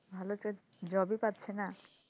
ভালো তো job ই পাচ্ছে না,